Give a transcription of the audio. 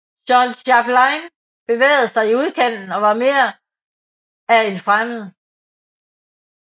Jean Chapelain bevægede sig i udkanten og var mere af en fremmed